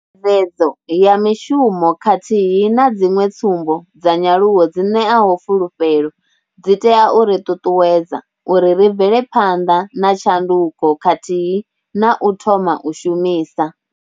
Dzedzo ya mishumo khathihi na dziṅwe tsumbo dza nyaluwo dzi ṋeaho fulufhelo, dzi tea u ri ṱuṱuwedza uri ri bvele phanḓa na tshanduko khathihi na u thoma u shumisa.